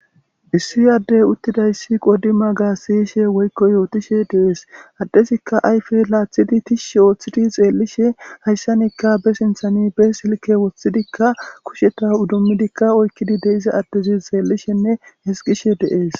issi yaddey uttidayssi qodi maga siishe woykko yootishe deees addesikka ayfe laathidi tishi ooththidi xeellishe hayssanikka be sinthani be silke woththidikka kusheta udummidikka oykkidi deiza addezi xeellishenne hesqishe deees